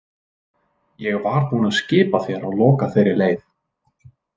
Ég var búinn að skipa þér að loka þeirri leið.